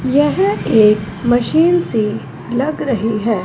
यह एक मशीन सी लग रही है।